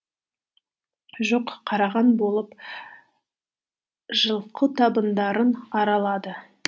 жоқ қараған болып жылқы табындарын аралады